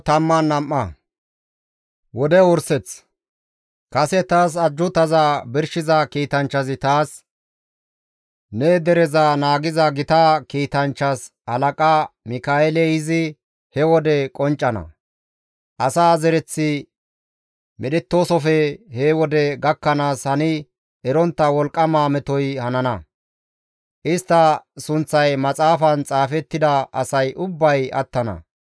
Kase taas ajjuutaza birshiza kiitanchchazi taas, «Ne dereza naagiza gita kiitanchchas halaqa Mika7eeley izi he wode qonccana; asa zereththi medhettoosofe he wode gakkanaas hani erontta wolqqama metoy hanana; istta sunththay maxaafan xaafettida ubba asay attana.